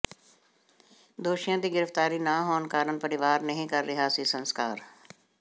ਦੋਸ਼ੀਆਂ ਦੀ ਗਿ੍ਫ਼ਤਾਰੀ ਨਾ ਹੋਣ ਕਾਰਨ ਪਰਿਵਾਰ ਨਹੀਂ ਕਰ ਰਿਹਾ ਸੀ ਸੰਸਕਾਰ